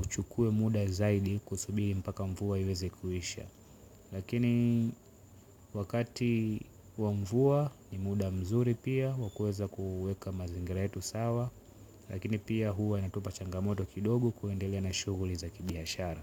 uchukue muda zaidi kusubiri mpaka mvua iweze kuisha. Lakini wakati wa mvua ni muda mzuri pia wa kuweza kuweka mazingira yetu sawa lakini pia huwa inatupa changamoto kidogo kuendelea na shughuli za kibiashara.